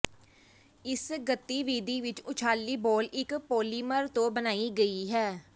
ਇਸ ਗਤੀਵਿਧੀ ਵਿੱਚ ਉਛਾਲ਼ੀ ਬਾਲ ਇੱਕ ਪੋਲੀਮਰ ਤੋਂ ਬਣਾਈ ਗਈ ਹੈ